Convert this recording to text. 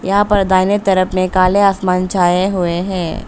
यहां पर दाहिने तरफ में काले आसमान छाए हुए हैं।